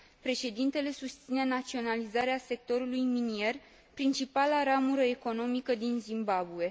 Președintele susține naționalizarea sectorului minier, principala ramură economică din Zimbabwe.